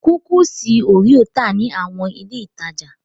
Kúkísì òréò tà ní àwọn ilé-ìtajà.